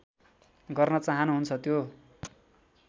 गर्न चाहनुहुन्छ त्यो